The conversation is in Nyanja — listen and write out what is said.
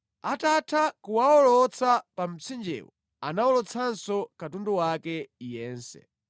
Atatha kuwawolotsa pa mtsinjewo anawolotsanso katundu wake yense.